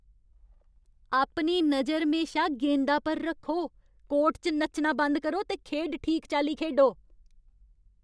अपनी नजर म्हेशा गेंदा पर रक्खो ! कोर्ट च नच्चना बंद करो ते खेढ ठीक चाल्ली खेढो।